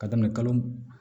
Ka daminɛ kalo